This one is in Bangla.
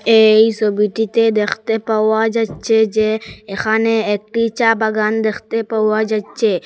এই সবিটিতে দেখতে পাওয়া যাইচ্ছে যে এখানে একটি চা বাগান দেখতে পাওয়া যাইচ্ছে।